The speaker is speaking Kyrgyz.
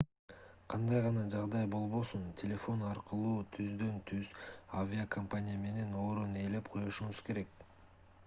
кандай гана жагдай болбосун телефон аркылуу түздөн-түз авиакомпания менен орун ээлеп коюшуңуз керек